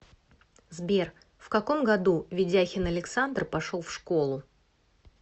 сбер в каком году ведяхин александр пошел в школу